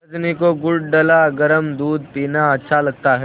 रजनी को गुड़ डला गरम दूध पीना अच्छा लगता है